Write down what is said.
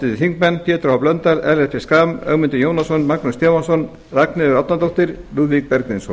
háttvirtir þingmenn pétur h blöndal ellert b schram ögmundur jónasson magnús stefánsson ragnheiður e árnadóttir lúðvík bergvinsson